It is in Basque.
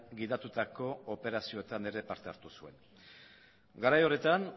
gidatutako operazioetan ere parte hartu zuen garai horretan